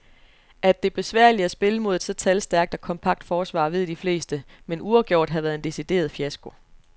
At det er besværligt at spille mod et så talstærkt og kompakt forsvar, ved de fleste, men uafgjort havde været en decideret fiasko.